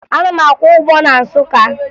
Ana m akwọ ụgbọ na Nsụka